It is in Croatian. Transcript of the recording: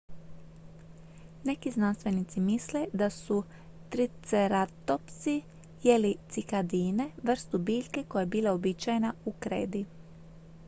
neki znanstvenici misle da su triceratopsi jeli cikadine vrstu biljke koja je bila uobičajena u kredi